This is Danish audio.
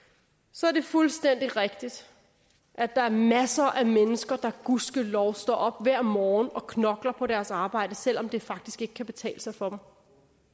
så er det fuldstændig rigtigt at der er masser af mennesker der gud ske lov står op hver morgen og knokler på deres arbejde selv om det faktisk ikke kan betale sig for